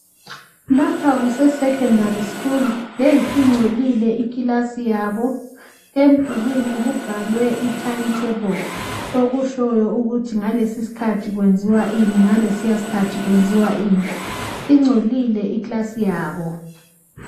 Lapha kusesekendari skulu. Yeyi ingcolile ikilasi yabo. Emdulini kubhalwe itayimutebho okutshoyo ukuthi ngalesi iskhathi kwenziwa ini ngalesiya isikhathi kwenziwa ini. Ingcolile ikilasi yabo.